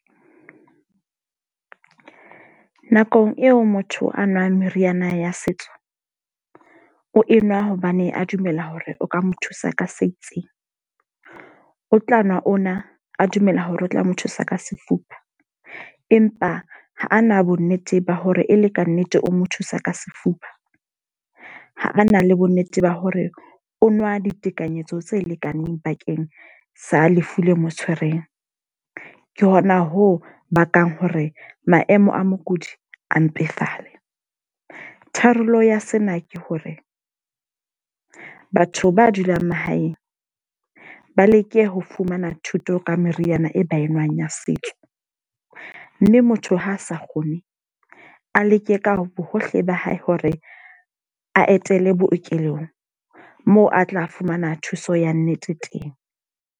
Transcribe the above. Nakong eo motho a nwang meriana ya setso. O enwa hobane a dumela hore o ka mo thusa ka se itseng. O tla nwa ona, a dumela hore o tla mo thusa ka sefuba. Empa ha a na bo nnete ba hore e le ka nnete o mo thusa ka sefuba. Ha a na le bo nnete ba hore o nwa ditekanyetso tse lekaneng bakeng sa lefu le mo tshwereng. Ke hona ho bakang hore maemo a mokudi a mpefale. Tharollo ya sena ke hore, batho ba dulang mahaeng ba leke ho fumana thuto ka meriana e ba enwang ya setso. Mme motho ha a sa kgone, a leke ka bohohle ba hae hore a etele bookelong. Moo a tla fumana thuso ya nnete teng.